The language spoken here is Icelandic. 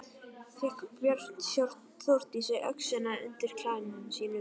Fékk Björn Þórdísi öxina undan klæðum sínum en